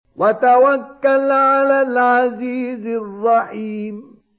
وَتَوَكَّلْ عَلَى الْعَزِيزِ الرَّحِيمِ